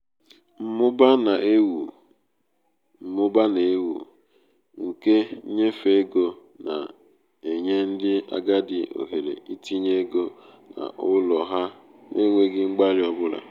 mmụba na-ewu mmụba na-ewu ewu nke nnyefe ego na-enye ndị agadi ohere itinye ego n'ụlọ ha n'enweghị mgbalị ọ bụla.